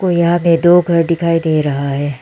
और यहां पे दो घर दिखाई दे रहा है।